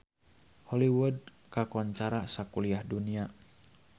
Hollywood kakoncara sakuliah dunya